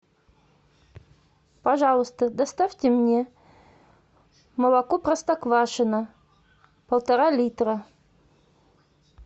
пожалуйста доставьте мне молоко простоквашино полтора литра